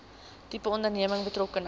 tipe onderneming betrokkenheid